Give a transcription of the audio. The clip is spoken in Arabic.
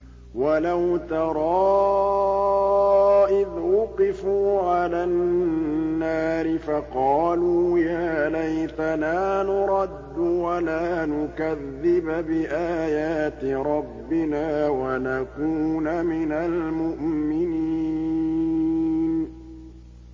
وَلَوْ تَرَىٰ إِذْ وُقِفُوا عَلَى النَّارِ فَقَالُوا يَا لَيْتَنَا نُرَدُّ وَلَا نُكَذِّبَ بِآيَاتِ رَبِّنَا وَنَكُونَ مِنَ الْمُؤْمِنِينَ